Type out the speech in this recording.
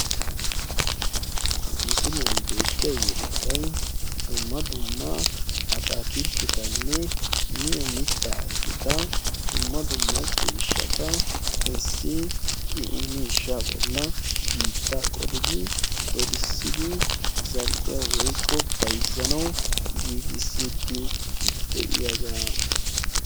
issi yelagay dumma dumma atakiltetat issi miisha bolani biita qolidi dolisidi za"iyaayo giigisidi de"iyage beettessi.